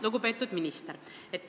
Lugupeetud minister!